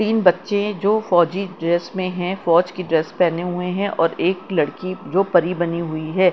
तीन बच्चें हैं जो फौजी ड्रेस में है फौज की ड्रेस पहने हुए हैं और एक लड़की जो परी बनी हुई है।